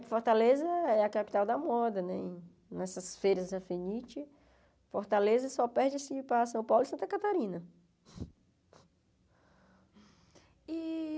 que Fortaleza é a capital da moda, né nessas feiras da Fenite, Fortaleza só perde assim para São Paulo e Santa Catarina. E